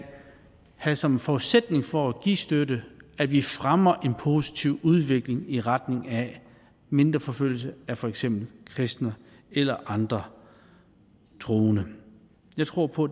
have som forudsætning for at give støtte at vi fremmer en positiv udvikling i retning af mindre forfølgelse af for eksempel kristne eller andre troende jeg tror på